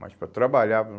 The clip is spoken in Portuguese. mas para trabalhar.